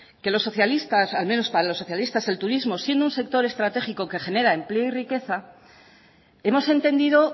que los socialistas al menos para los socialistas el turismo siendo un sector estratégico que genera empleo y riqueza hemos entendido